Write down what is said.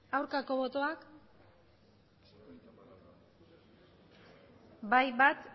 aurkako botoak bai bat